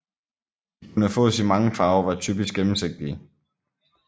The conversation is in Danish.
De kunne fås i mange farver og var typisk gennemsigtige